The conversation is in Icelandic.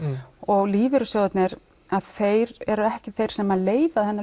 og lífeyrissjóðirnir þeir eru ekki þeir sem leiða þennan